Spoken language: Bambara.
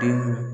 Den